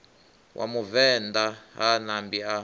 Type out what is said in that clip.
wa muvenḓa ha ṋambi a